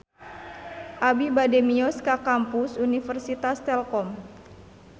Abi bade mios ka Kampus Universitas Telkom